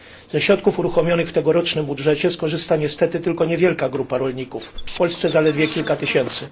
Ze środków uruchomionych w tegorocznym budżecie skorzysta niestety tylko niewielka grupa rolników, w Polsce zaledwie kilka tysięcy.